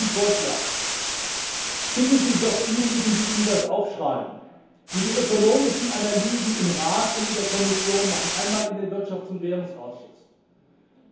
Ich mache Ihnen einen Vorschlag Schicken Sie doch diejenigen, die Ihnen das aufschreiben, die die ökonomischen Analysen im Rat und in der Kommission machen, einmal in den Ausschuss für Wirtschaft und Währung.